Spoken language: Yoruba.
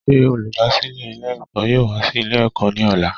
Sé olùdásílè Ilé èkó yóò wá sí Ilé èkó ní òla